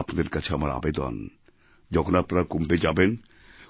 আপনাদের কাছে আমার আবেদন যখন আপনারা কুম্ভে যাবেন